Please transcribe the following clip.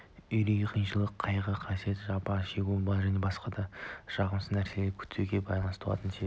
үрей қиыншылық қайғы-қасірет жапа шегуді және басқа да жағымсыз нәрселерді күтуге байланысты туатын сезім